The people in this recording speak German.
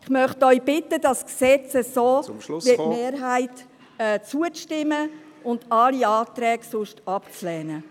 Ich möchte Sie bitten, diesem Gesetz so, wie es die Mehrheit vorschlägt, zuzustimmen und alle anderen Anträge abzulehnen.